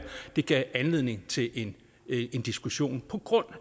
at det gav anledning til en diskussion på grund